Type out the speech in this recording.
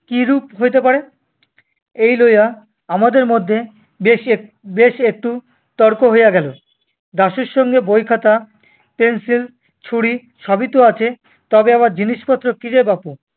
কিরূপ হইতে পারে? এই লইয়া আমাদের মধ্যে বেশ এক~ বেশ একটু তর্ক হইয়া গেল। দাশুর সঙ্গে বই, খাতা, পেনসিল, ছুরি সবই তো আছে, তবে আবার জিনিসপত্র কিরে বাপু?